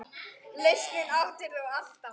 Lausnir áttir þú alltaf.